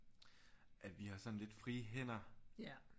At vi har sådan lidt frie hænder